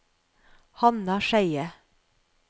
Hanna Skeie